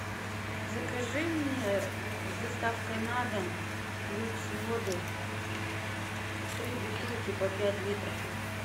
закажи мне с доставкой на дом люкс воду три бутылки по пять литров